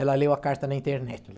Ela leu a carta na internet.